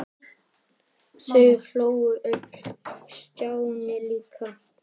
Þau hlógu öll- Stjáni líka.